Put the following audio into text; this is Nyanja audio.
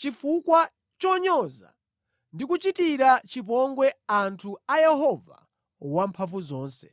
chifukwa chonyoza ndi kuchitira chipongwe anthu a Yehova Wamphamvuzonse.